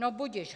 No budiž.